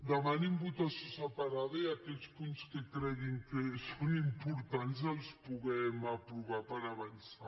demanin votació separada i aquells punts que creguin que són importants els puguem aprovar per avançar